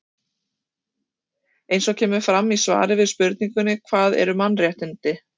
eins og kemur fram í svari við spurningunni hvað eru mannréttindi